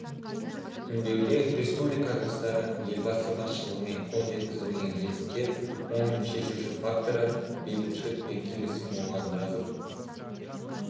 үндеуде республика жастары елбасы басшылығымен қол жеткізілген жетістіктер оның шешуші факторы бейбітшілік пен келісім болғанын жазып